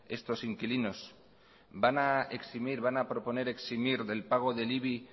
estos inquilinos van a eximir van a proponer eximir del pago del ibi